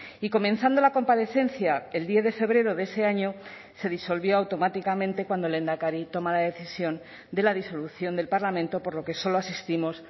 y comenzando la comparecencia el diez de febrero de ese año se disolvió automáticamente cuando el lehendakari toma la decisión de la disolución del parlamento por lo que solo asistimos